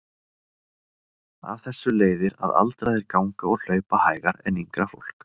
Af þessu leiðir að aldraðir ganga og hlaupa hægar en yngra fólk.